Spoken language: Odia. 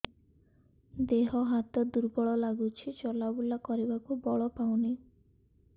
ଦେହ ହାତ ଦୁର୍ବଳ ଲାଗୁଛି ଚଲାବୁଲା କରିବାକୁ ବଳ ପାଉନି